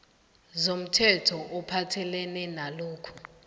zomthetho ophathelene nalokhu